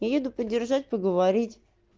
еду поддержать поговорить